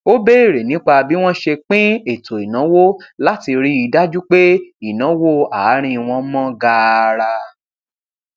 ó béèrè nípa bí wọn ṣe pín ètò ìnáwó láti ríi dájú pé ìnáwó àárín wọn mọ gaara